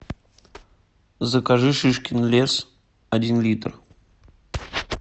закажи шишкин лес один литр